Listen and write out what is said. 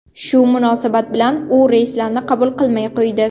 Shu munosabat bilan u reyslarni qabul qilmay qo‘ydi.